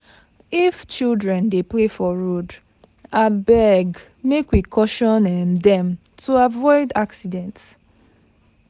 If children dey play for road, abeg make we caution um dem to avoid accident.